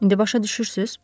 İndi başa düşürsünüz?